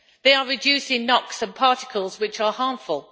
They are reducing NOX and particles which are harmful.